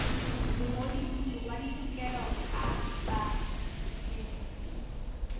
mongodisi wa ditokelo tsa bamedisi